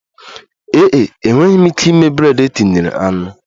Ee e, enweghị m ike ịme bred e tinyere anụ